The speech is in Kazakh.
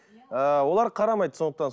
ыыы олар қарамайды сондықтан